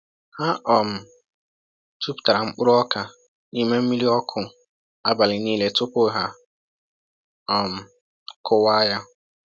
Ha um jupụtara mkpụrụ oka n’ime mmiri ọkụ abalị niile tupu ha um kụwaa ya.